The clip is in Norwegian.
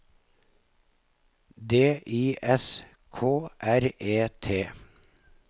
D I S K R E T